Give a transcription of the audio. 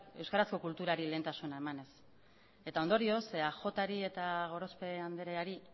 euskarazko kulturari lehentasuna emanez eta ondorioz eajri eta gorospe andreari